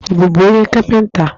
Ị bụbu onye kapịnta?